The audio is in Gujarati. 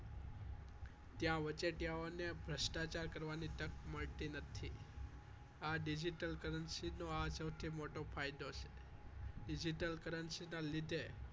ત્યાં વચોટિયાઓને ભ્રષ્ટાચાર કરવાની તક મળતી નથી આ currency નો સૌથી મોટો ફાયદો છે digital currency ના લીધે